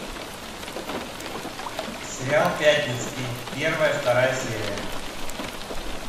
сериал пятницкий первая вторая серия